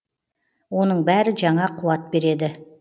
оның бәрі жаңа қуат береді